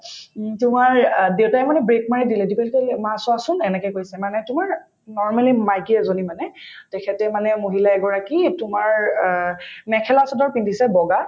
উম তোমাৰ অ দেউতাই মানে brake মাৰি দিলে দেউতাই তেতিয়া কলে মা চোৱাচোন এনেকে কৈছে মানে তোমাৰ normally মাইকী এজনী মানে তেখেতে মানে মহিলা এগৰাকী তোমাৰ অ মেখেলা-চাদৰ পিন্ধিছে বগা